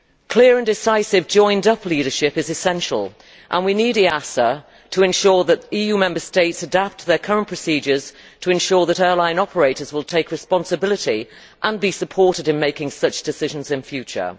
Clear and decisive joined up leadership is essential and we need the European Aviation Safety Agency to ensure that EU Member States adapt their current procedures to guarantee that airline operators will take responsibility and be supported in making such decisions in future.